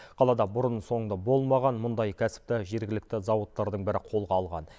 қалада бұрын соңды болмаған мұндай кәсіпті жергілікті зауыттардың бірі қолға алған